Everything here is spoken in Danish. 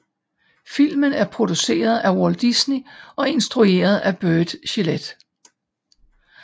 Filmen er produceret af Walt Disney og instrueret af Burt Gillett